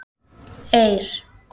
Eir